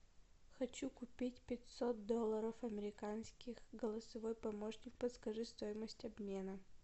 хочу купить пятьсот долларов американских голосовой помощник подскажи стоимость обмена